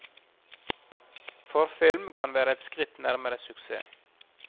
Forfilm kan være et skritt nærmere suksess.